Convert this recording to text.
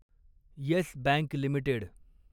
yes Bank limited